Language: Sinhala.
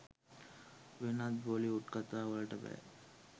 වෙනත් බොලිවුඩ් කතා වලට බෑ.